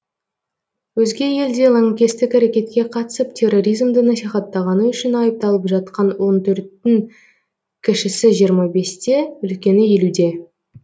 өзге елде лаңкестік әрекетке қатысып терроризмді насихаттағаны үшін айыпталып жатқан он төрттің кішісі жиырма бесте үлкені елуде